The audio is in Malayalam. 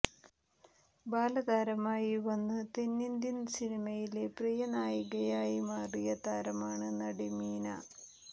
ബാലതാരമായി വന്ന് തെന്നിന്ത്യൻ സിനിമയിലെ പ്രിയ നായികയായി മാറിയ താരമാണ് നടി മീന